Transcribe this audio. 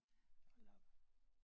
Hold da op